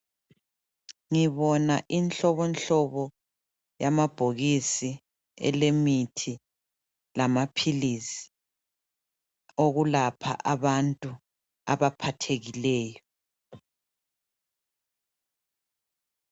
Ngibona inhlobonhlobo yamabhokisi elemithi lamaphilisi okulapha abantu abaphathekileyo.